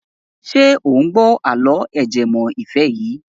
Ṣé ò ń gbọ́ àlọ́ ajẹmọ́ ìfẹ́ yìí.